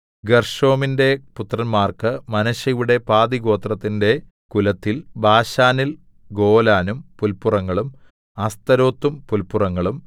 ഗെർശോമിന്റെ പുത്രന്മാർക്കു മനശ്ശെയുടെ പാതിഗോത്രത്തിന്റെ കുലത്തിൽ ബാശാനിൽ ഗോലാനും പുല്പുറങ്ങളും അസ്തരോത്തും പുല്പുറങ്ങളും